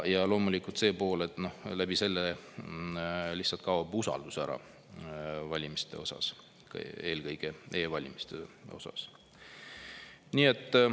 Ja loomulikult see pool, et selle tõttu lihtsalt kaob usaldus valimiste vastu, eelkõige e-valimiste vastu ära.